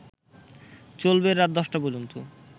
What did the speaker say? চলবে রাত ১০টা পর্যন্ত